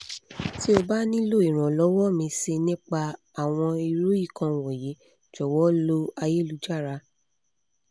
tí o bá nílò ìrànlọ́wọ́ mìíì sí i nípa àwọn irú nǹkan wọ̀nyí jọ̀wọ́ lọ ayélujára